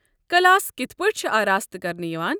Class کتھہٕ پٲٹھۍ چھِ آراستہٕ كرنہٕ یوان؟